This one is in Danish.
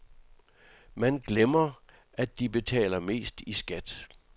Man glemmer, at de betaler mest i skat.